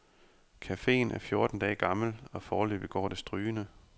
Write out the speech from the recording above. Cafeen er fjorten dage gammel, og foreløbig går det strygende.